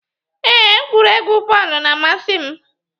Ee, egwuregwu bọọlu na-amasi m